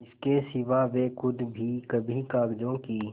इसके सिवा वे खुद भी कभी कागजों की